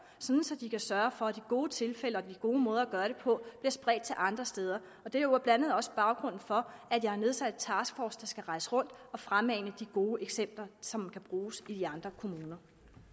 så de kan sørge for at de gode tilfælde og de gode måder at gøre det på bliver spredt til andre steder og det er jo blandt andet også baggrunden for at jeg har nedsat en taskforce der skal rejse rundt og fremmane de gode eksempler som kan bruges i andre kommuner